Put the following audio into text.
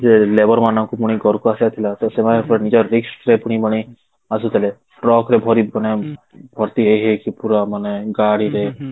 ଯେ labour ମାନଙ୍କୁ ପୁଣି ଘରକୁ ଆସିବାର ଥିଲା ତ ସେମାନେ ନିଜର risk ରେ ପୁଣି ଆସୁଥିଲେ truck ରେ ଭରି ମାନେ ଭର୍ତ୍ତି ହେଇ ହେଇକି ପୁରା ମାନେ ଗାଡି ରେ